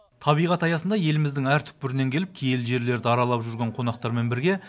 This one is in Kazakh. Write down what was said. табиғат аясында еліміздің әр түкпірінен келіп киелі жерлерді аралап жүрген қонақтармен бірге